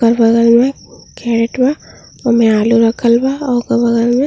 ओकर बगल में खेत बा। ओमे आलू रखल बा और ओकर बगल में --